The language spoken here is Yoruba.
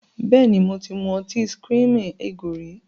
Bẹ́ẹ̀ni, mo ti mu ọtí screaming eagle rí.